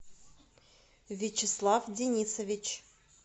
вячеслав денисович